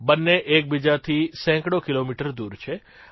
બંને એકબીજાથી સેંકડો કીલોમીટર દૂર છે